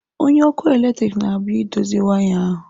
Onye ọkụ eletrik na-abịa idozi waya ahu.